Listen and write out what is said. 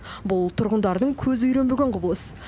бұл тұрғындардың көзі үйренбеген құбылыс